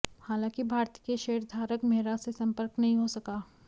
हालांकि भारती के शेयरधारक मेहरा से संपर्क नहीं हो सका